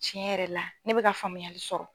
Tiɲɛ yɛrɛ la ne bɛka ka faamuyali sɔrɔ.